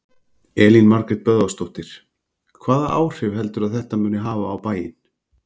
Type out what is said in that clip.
Elín Margrét Böðvarsdóttir: Hvaða áhrif heldurðu að þetta muni hafa á bæinn?